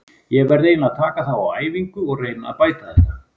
Ég verð eiginlega að taka þá á æfingu og reyna að bæta þetta.